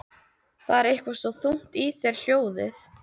Það er eitthvað svo þungt í þér hljóðið.